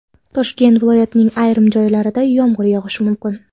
Toshkent viloyatining ayrim joylarida yomg‘ir yog‘ishi mumkin.